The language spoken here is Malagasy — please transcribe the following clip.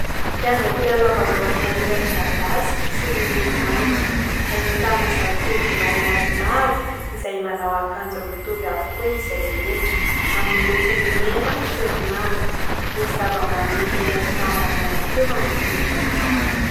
Kianja filalaovam-baolina iray, midadasika sy miloko maitso. Ahitana zatovo lahy maromaro izay manao akanjo mitovy avokoa izy rehetra, amin'ny lokony mena sy manga. Misy zava-maniry maitso mavana ihany koa manodidina izany.